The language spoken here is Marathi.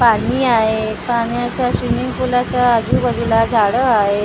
पानी आहे पाण्याच्या स्विमिंग पुलाच्या आजूबाजूला झाडं आहे.